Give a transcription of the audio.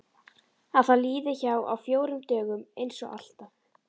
Að það líði hjá á fjórum dögum einsog alltaf.